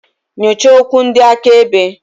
Nyochaa okwu ndị akaebe.